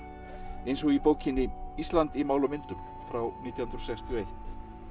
eins og í bókinni Ísland í máli og myndum frá nítján hundruð sextíu og eitt